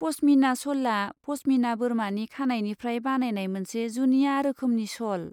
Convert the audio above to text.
पश्मिना श'लआ पश्मिना बोरमानि खानाइनिफ्राय बानायनाय मोनसे जुनिया रोखोमनि श'ल।